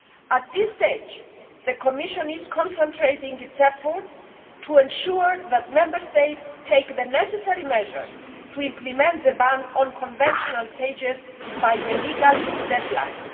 At this stage, the Commission is concentrating its efforts to ensure that Member States take the necessary measures to implement the ban on conventional cages by the legal deadline.